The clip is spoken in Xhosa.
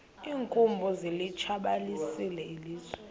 iinkumbi zilitshabalalisile ilizwe